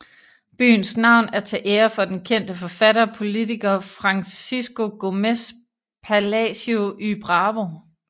Byens navn er til ære for den kendte forfatter og politiker Francisco Gómez Palacio y Bravo